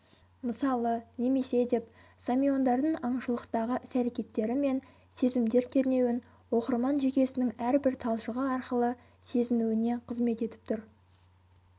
мысалы немесе деп самиондардың аңшылықтағы іс әрекеттері мен сезімдер кернеуін оқырман жүйкесінің әрбір талшығы арқылы сезінуіне қызмет етіп тұр